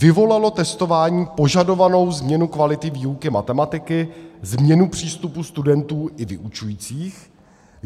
Vyvolalo testování požadovanou změnu kvality výuky matematiky, změnu přístupu studentů i vyučujících?